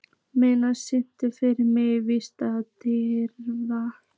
Marella, syngdu fyrir mig „Vítisengill á Davidson“.